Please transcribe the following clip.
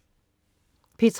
P3: